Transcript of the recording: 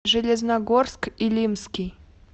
железногорск илимский